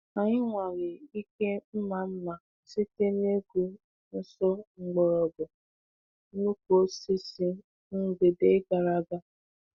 Anyị nwalee ike mma mma site n’igwu nso mgbọrọgwụ nnukwu osisi mgbede gara aga.